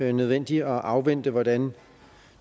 er nødvendigt at afvente hvordan